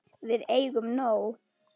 Við eigum nóg.